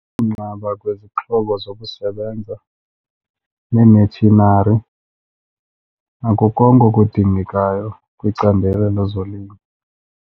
Kunqaba kwezixhobo zokusebenza neematshinari nako konke okudingekayo kwicandelo lezolimo.